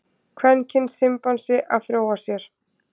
Kvenkyns simpansi að fróa sér.